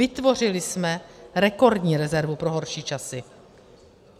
Vytvořili jsme rekordní rezervu pro horší časy.